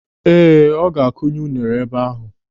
Ee, ọ ga a kunye unere ebe ahụ.